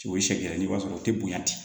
O ye sariya ye i b'a sɔrɔ o tɛ bonya ten